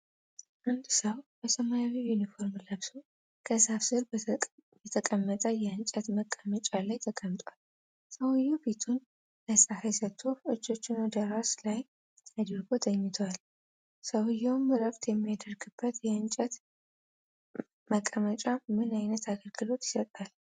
አንድ ሰው በሰማያዊ ዩኒፎርም ለብሶ ከዛፍ ሥር በተቀመጠ የእንጨት መቀመጫ ላይ ተቀምጧል። ሰውዬው ፊቱን ለፀሐይ ሰጥቶ እጆቹን ወደ ራስ ላይ አድርጎ ተኝቷል። ሰውዬው እረፍት የሚያደርግበት የእንጨት መቀመጫ ምን ዓይነት አገልግሎት ይሰጣል?